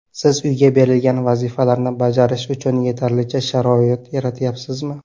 Siz uyga berilgan vazifalarni bajarish uchun yetarlicha sharoit yaratyapsizmi?